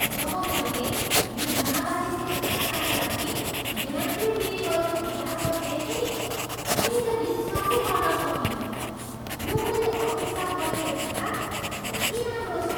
जब मैले यो नाबालिगको खाताका लागि ब्याङ्कले दिने गरेको ब्याज दर देखेँ नि मैले त विश्वासै गर्न सकिनँ! यो मैले अपेक्षा गरेको भन्दा धेरै राम्रो छ।